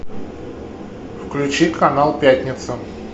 включи канал пятница